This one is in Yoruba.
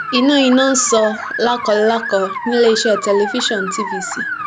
iná iná ń sọ lákọlákọ níléeṣẹ tẹlifíṣàn tvc